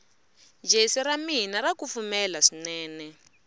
jesi ramina rakufumela swinene